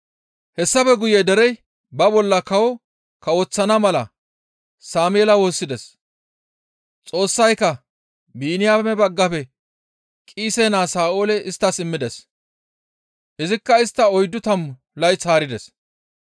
«Hessafe guye derey ba bolla kawo kawoththana mala Sameela woossides; Xoossayka Biniyaame baggafe Qiise naa Sa7oole isttas immides; izikka istta oyddu tammu layth haarides.